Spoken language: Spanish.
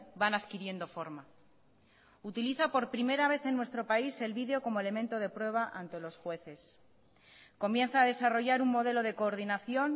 van adquiriendo forma utiliza por primera vez en nuestro país el video como elemento de prueba ante los jueces comienza a desarrollar un modelo de coordinación